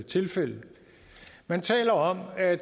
tilfælde man taler om at